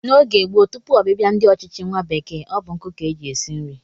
N'oge gboo tupu ọbịbịa ndị ọchịchị nwa bekee, ọ bụ nkụ ka e ji esi nri